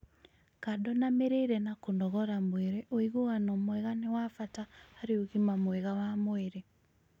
kando na mĩrĩĩre na kũnogora mwĩrĩ ũiguano mwega nĩ wa bata harĩ ũgima mwega wa mwĩrĩ